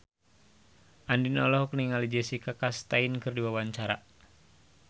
Andien olohok ningali Jessica Chastain keur diwawancara